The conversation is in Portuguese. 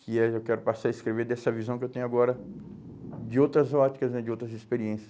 que é, eu quero passar a escrever dessa visão que eu tenho agora de outras óticas né, de outras experiências.